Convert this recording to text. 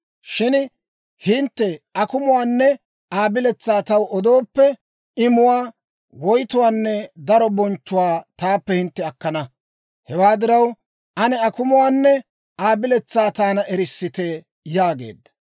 Shin hintte akumuwaanne Aa biletsaa taw odooppe, imuwaa, woytuwaanne daro bonchchuwaa taappe hintte akkana. Hewaa diraw, ane akumuwaanne Aa biletsaa taana erissite» yaageedda.